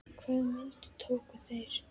Hvaða myndir tóku þeir?